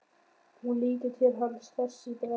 Hún lítur til hans hress í bragði.